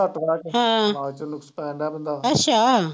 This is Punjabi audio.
ਅੱਛਾ।